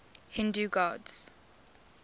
hindu gods